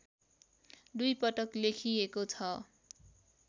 दुईपटक लेखिएको छ